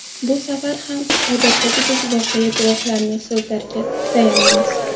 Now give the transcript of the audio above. Bu safar ham odatdagidek voqea guvohlarining so‘zlariga tayanamiz.